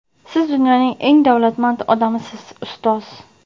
Siz dunyoning eng davlatmand odamisiz - ustoz!.